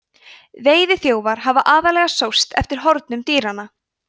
veiðiþjófar hafa aðallega sóst eftir hornum dýranna